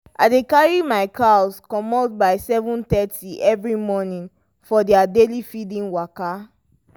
i dey carry my cows commot by 7:30 every morning for their daily feeding waka.